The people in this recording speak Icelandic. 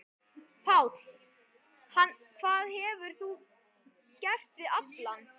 Páll: Hvað hefur þú gert við aflann?